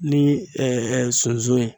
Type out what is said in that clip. Ni sunsun ye